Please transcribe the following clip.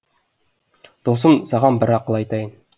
досым саған бір ақыл айтайын